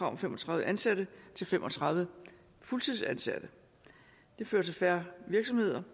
om fem og tredive ansatte til fem og tredive fuldtidsansatte det fører til færre virksomheder